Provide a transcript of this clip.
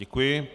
Děkuji.